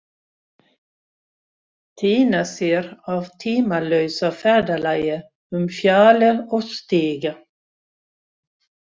Týna sér á tímalausa ferðalagi um fjalir og stiga.